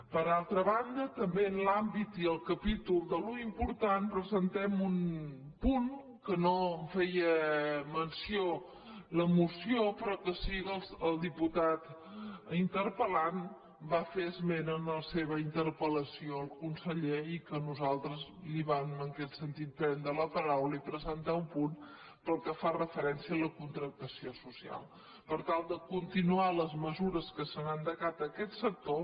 per altra banda també en l’àmbit i el capítol de l’important presentem un punt que no en feia menció la moció però que sí que el diputat interpel·lant en va fer esment en la seva interpel·lació al conseller i que nosaltres li vam en aquest sentit prendre la paraula i presentar un punt pel que fa referència a la contractació social per tal de continuar les mesures que s’han endegat en aquest sector